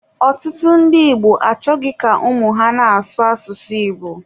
Ọtụtụ ndị Igbo achọghị ka ụmụ ha na-asụ asụsụ Igbo.